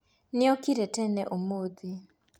Nĩokire tene ũmũthĩ